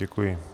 Děkuji.